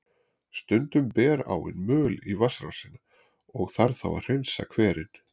Stundum ber áin möl í vatnsrásina, og þarf þá að hreinsa hverinn.